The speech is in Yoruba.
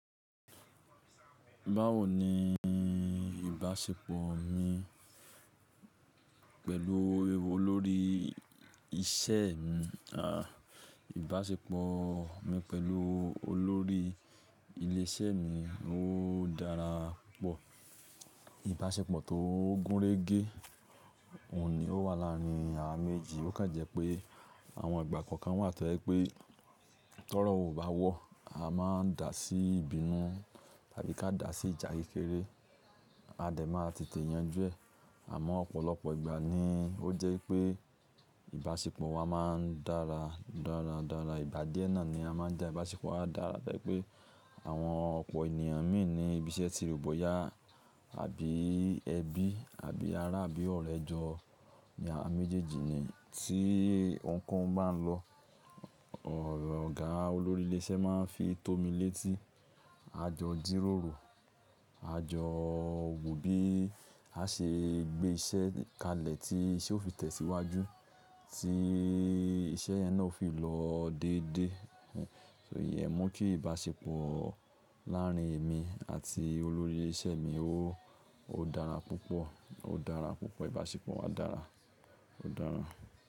Báwo ni ìbáṣepọ̀ mi pẹ̀lú olórí iṣẹ́ mi? À, ìbáṣepọ̀ mi pẹ̀lú olórí ilé iṣẹ́ mi ó dára púpọ̀. Ìbáṣepọ̀ tó gúnrégé ò ní wà láàárín àwa méjì. Ó ká jẹ́ pé àwọn ìgbà kan wà tó pé tọ́rọ̀ ò bá wọ́, a máa ń dà sí ìbínú tàbí ká dà sí ìjà kékeré, a dẹ̀ máa tètè yanjú ẹ̀. Àmọ́ ọ̀pọ̀lọpọ̀ ìgbà ni ó jẹ́ pé ìbáṣepọ̀ wa máa ń dára, dáradára. Ìgbà díè ni a máa ń dà. Ìbáṣepọ̀ wa dára tó jé pé àwọn ọ̀pọ̀ ènìyàn míì ní ibi iṣẹ́ ti rò boyá àbí ẹbí, àbí ará, àbí ọ̀rẹ́ jọ. Àwa méjèèjì ni tí ohunkóhun bá ń lọ. Ọ̀gá olórí ilé iṣẹ́ máa ń fi tómi létí. A jọ jìròrò, a jọ wo bí a ṣe gbé iṣẹ́ kalẹ̀, tí iṣẹ́ ó fi tẹ̀síwájú, tí iṣẹ́ yẹn náà ó fi lọ dédé. So ìyẹn mú kí ìbáṣepọ̀ láàárín èmi àti olórí iṣẹ́ mi ó dára púpọ̀, ó dára púpọ̀. Ìbáṣepọ̀ wa dára, ó dára.